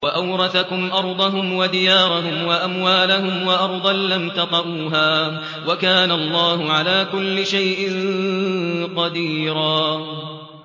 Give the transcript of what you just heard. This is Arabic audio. وَأَوْرَثَكُمْ أَرْضَهُمْ وَدِيَارَهُمْ وَأَمْوَالَهُمْ وَأَرْضًا لَّمْ تَطَئُوهَا ۚ وَكَانَ اللَّهُ عَلَىٰ كُلِّ شَيْءٍ قَدِيرًا